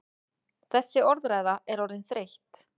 Þessi orðræða er orðin þreytt!